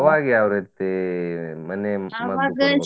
ಅವಾಗ ಯಾವ್ ರೀತಿ ಮನೆ ?